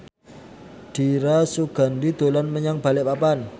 Dira Sugandi dolan menyang Balikpapan